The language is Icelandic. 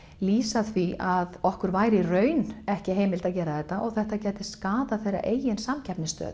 lýsa því að okkur væri í raun ekki heimilað að gera þetta og þetta myndi skaða þeirra eigin samkeppnisstöðu